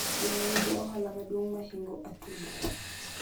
Geno nigi ohala maduong mahingo atudo